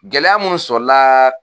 Gɛlɛya munnu sɔrɔ la